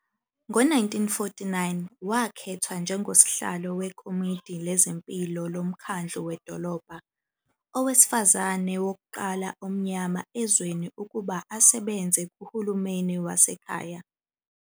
Ngo-1949, wakhethwa njengosihlalo wekomidi lezempilo lomkhandlu wedolobha, owesifazane wokuqala omnyama ezweni ukuba asebenze kuhulumeni wasekhaya.